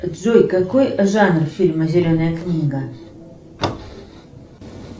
джой какой жанр фильма зеленая книга